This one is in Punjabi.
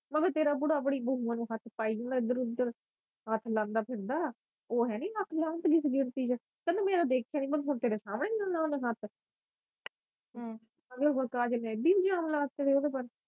ਮੈ ਕਿਹਾ ਤੇਰਾ ਬੂੜਾ ਆਪਣੀ ਨੂੰ ਹੱਥ ਪਾਈ ਜਾਂਦਾ ਇਧਰ ਓਧਰ ਹੱਥ ਲਾਂਦਾ ਫਿਰਦਾ ਉਹ ਹੈਨੀ ਲੱਖ ਲਾਹਨਤ ਤੇ ਤੈਨੂੰ ਮੇਰਾ ਦੇਖਿਆ ਨਹੀਂ ਮੈਨੂੰ ਹੁਣ ਤੇਰੇ ਸਾਹਮਣੇ ਹੱਥ ਇਹਨੂੰ ਕੋਈ ਹੇਗੀ ਨਹੀਂ ਸ਼ਰਮ ਕਾਜ